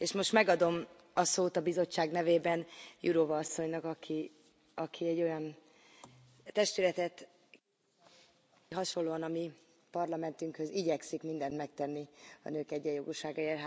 És most megadom a szót a Bizottság nevében Jourová asszonynak, aki egy olyan testületet, hasonlóan a mi Parlamentünkhöz, igyekszik mindent megtenni a nők egyenjogúságáért.